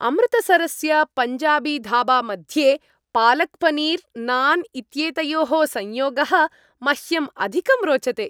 अमृतसरस्य पञ्जाबीधाबामध्ये पालक्पनीर्, नान् इत्येतयोः संयोगः मह्यम् अधिकं रोचते।